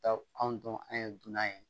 Taa anw dun an ye dunan ye